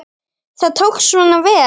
Það tókst svona vel.